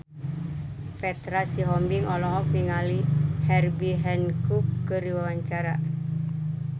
Petra Sihombing olohok ningali Herbie Hancock keur diwawancara